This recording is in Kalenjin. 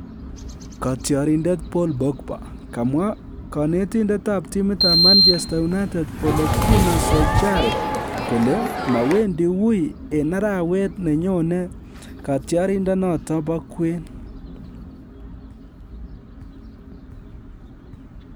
Katyarindet Paul Pogba; komwa kanitendet ab timit ab Manchester United Ole Gunnar Solskjaer kole mawendi weu en arawet neyone katyarindet noton bo kwen